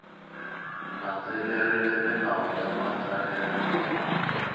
landzelerile milawu ya matsalelo hi